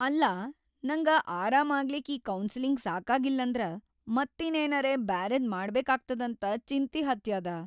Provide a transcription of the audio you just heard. ಅಲ್ಲಾ ನಂಗ ಆರಾಮಾಗ್ಲಿಕ್‌ ಈ ಕೌನ್ಸಲಿಂಗ್‌ ಸಾಕಾಗ್ಲಿಲ್ಲಂದ್ರ ಮತ್ತೀನ್ನೇನರೆ ಬ್ಯಾರೆದ್‌ ಮಾಡ್ಬೇಕಾಗ್ತದಂತ ಚಿಂತಿ ಹತ್ಯಾದ.